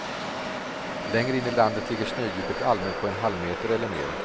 Längre in i landet ligger snödjupet allmänt på en halvmeter eller mer.